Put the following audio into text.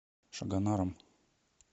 шагонаром